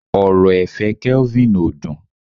ọrọ ẹ̀fẹ̀ kelvin o dün